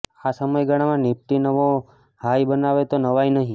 આ સમયગાળામાં નિફ્ટી નવો હાઈ બનાવે તો નવાઈ નહીં